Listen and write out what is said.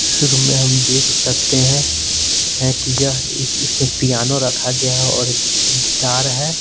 शुरू में हम देख सकते हैं हैं कि यह इसमें पियानो रखा गया है और एक गिटार है।